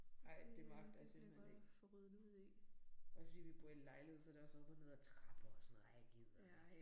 Ej det magter jeg simpelthen ikke. Også fordi vi bor i lejlighed så det også op og ned ad trapper og sådan noget. Ej jeg gider ikke